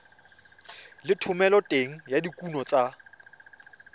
le thomeloteng ya dikuno tsa